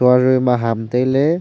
aga ma ham tai ley.